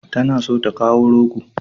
Tana so ta kawo rogo.